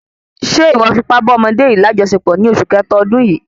Ṣe iwọ fi ipá bá ọmọdé yìí lajọsepọ ní oṣù kẹta ọdún yìí?